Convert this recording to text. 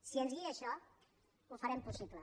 si ens guia això ho farem possible